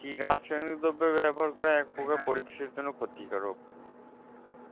কি রাসায়নিক দ্রব্য ব্যবহার করা এক পক্ষে পরিবেশ এর জন্য ক্ষতি কারক